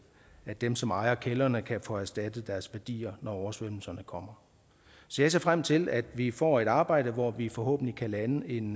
at dem som ejer kældrene kan få erstattet deres værdier når oversvømmelserne kommer så jeg ser frem til at vi får et arbejde hvor vi forhåbentlig kan lande en